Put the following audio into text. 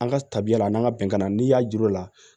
An ka tabiya la n'an ka bɛnkan na n'i y'a jir'u la